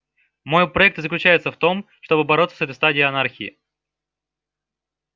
мой проект и заключается в том чтобы бороться с этой стадией анархии